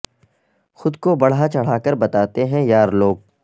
خود کو بڑھا چڑھا کے بتاتے ہیں یار لوگ